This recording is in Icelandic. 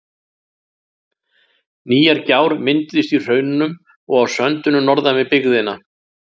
Nýjar gjár mynduðust í hraununum og á söndunum norðan við byggðina.